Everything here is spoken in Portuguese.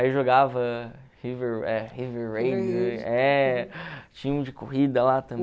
Aí jogava tinha um de corrida lá